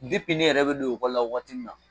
ne yɛrɛ bɛ don ekɔli la waati min na